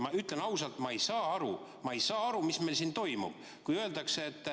Ma ütlen ausalt, et ma ei saa aru, mis meil siin toimub.